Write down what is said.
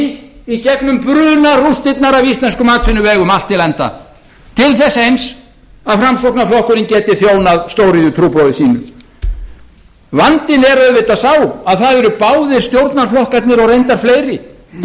í bandi í gegnum brunarústirnar á íslenskum atvinnuvegum allt til enda til þess eins að framsóknarflokkurinn geti þjónað stóriðjutrúboði sínu vandinn er auðvitað sá að það eru báðir stjórnarflokkarnir og reyndar fleiri